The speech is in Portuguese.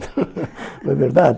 Não é verdade?